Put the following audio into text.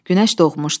Günəş doğmuşdu.